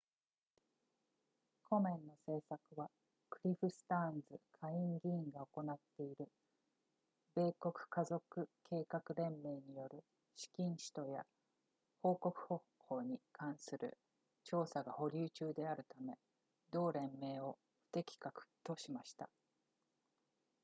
コメンの政策はクリフスターンズ下院議員が行っている米国家族計画連盟による資金使途や報告方法に関する調査が保留中であるため同連盟を不適格としました